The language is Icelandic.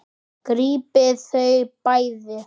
Grípið þau bæði!